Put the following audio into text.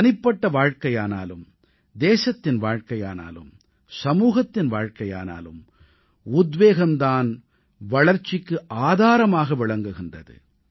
தனிப்பட்ட வாழ்க்கையானாலும் தேசத்தின் வாழ்க்கையானாலும் சமூகத்தின் வாழ்க்கையானாலும் உத்வேகம் தான் வளர்ச்சிக்கு ஆதாரமாக விளங்குகின்றது